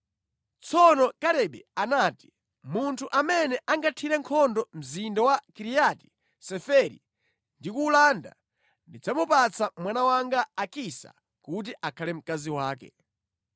Tsono Kalebe anati, “Munthu amene angathire nkhondo mzinda wa Kiriati Seferi ndi kuwulanda, ndidzamupatsa mwana wanga Akisa kuti akhale mkazi wake.”